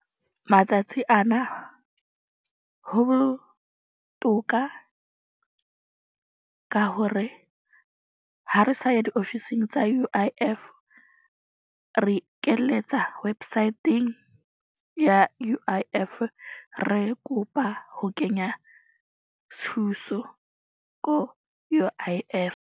Matsatsi ana ho botoka ka hore ha re sa ya diofising tsa U_I_F re ikeletsa website-eng ya U_I_F. Re kopa ho kenya thuso ko U_I_F.